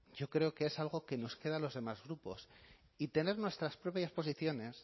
yo creo que es algo que nos queda a los demás grupos y tener nuestras propias posiciones